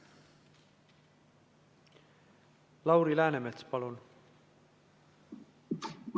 Lauri Läänemets, palun!